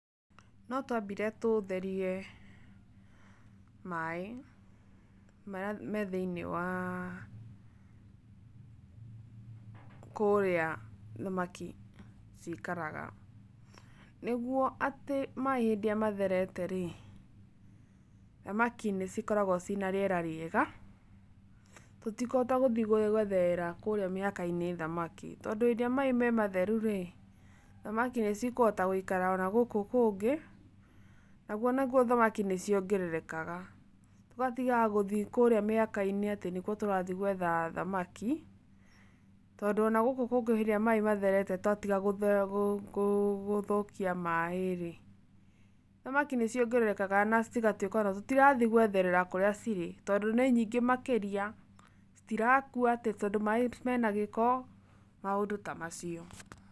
No twambire tũtherie maĩ, marĩa me thĩiniĩ waa, kũrĩa thamaki cikaraga. Nigũo atĩ maĩ hĩndĩ ĩrĩa matherete-rĩ, thamaki nĩcikoragũo ciĩ na rĩera rĩega, tũtikũhota gũthiĩ gwetherera kũrĩa mĩhaka-inĩ thamaki. Tondũ hĩndĩ ĩrĩa maĩ me matheru-rĩ, thamaki nĩcikũhota gũikara ona gũkũ kũngĩ, naguo naguo thamaki nĩciongererekaga, tũgatigaga gũthiĩ kũrĩa mĩhaka-inĩ atĩ nĩkuo tũrathiĩ gwetha thamaki, tondũ ona gũkũ kũngĩ hindĩ ĩrĩa maĩ matherete twatiga gũthũkia maĩ-rĩ, thamaki nĩciongererekaga na cigatuĩka ona tũtirathiĩ gwetherera kũrĩa cirĩ tondũ nĩ nyingĩ makĩria, citirakua atĩ tondũ maĩ mena gĩko, maũndũ ta macio